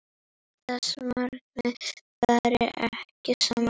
Þessi markmið fara ekki saman.